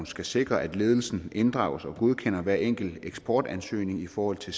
skal sikre at ledelsen inddrages og godkender hver enkelt eksportansøgning i forhold til